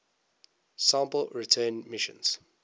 sample return missions